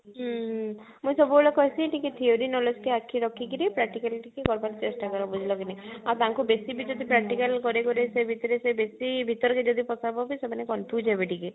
ହୁଁ ହୁଁ but ଟିକେ theory knowledge କୁ ଆଖି ରଖିକିରି practical ଟିକେ କରବା ଚେଷ୍ଟା କରବା ବୁଝିଲ କି ନାଇ ଆଉ ତାଙ୍କୁ ବେଶୀ ବି ଯଦି practical କରେଇବ ସେ ଭିତରେ ସେ ବେଶୀ ଭିତରକୁ ଯଦି ପସାବ ବି ସେମାନେ confuse ହେବେ ଟିକେ